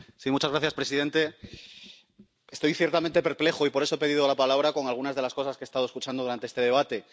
Señor presidente, estoy ciertamente perplejo —y por eso he pedido la palabra— con algunas de las cosas que he estado escuchando durante este debate.